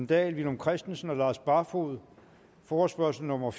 dahl villum christensen og lars barfoed forespørgsel nummer